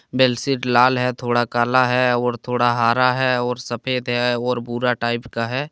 बेलशीट लाल है थोड़ा काला है और थोड़ा हरा है और सफ़ेद है और भूरा टाइप का है।